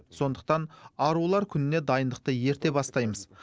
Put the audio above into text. сондықтан арулар күніне дайындықты ерте бастаймыз